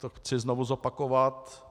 To chci znovu zopakovat.